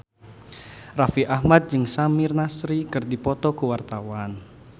Raffi Ahmad jeung Samir Nasri keur dipoto ku wartawan